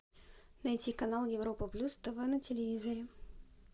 найти канал европа плюс тв на телевизоре